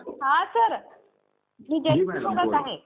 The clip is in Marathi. हा सर मी जयश्री बोलत आहे.